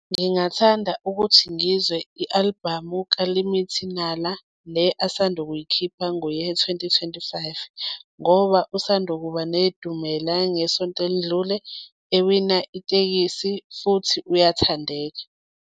Ngingathanda ukuthi ngizwe i-album-u ka-Limit Nala, le asanda kuyikhipha ngo-year twenty, twenty-five, ngoba usanda kuba nedumela ngesonto elidlule ewina itekisi futhi uyathandeka.